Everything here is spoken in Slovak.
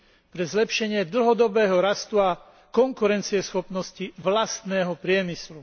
pre zlepšenie dlhodobého rastu a konkurencieschopnosti vlastného priemyslu.